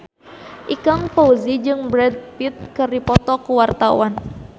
Ikang Fawzi jeung Brad Pitt keur dipoto ku wartawan